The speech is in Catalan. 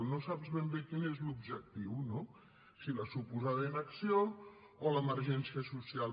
no saps ben bé quin és l’objectiu no si la suposada inacció o l’emergència social